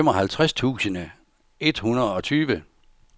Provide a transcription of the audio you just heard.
femoghalvtreds tusind et hundrede og tyve